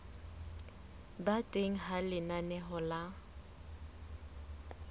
ba teng ha lenaneo la